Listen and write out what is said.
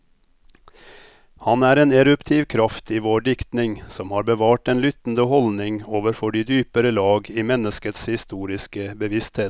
Han er en eruptiv kraft i vår diktning, som har bevart den lyttende holdning overfor de dypere lag i menneskets historiske bevissthet.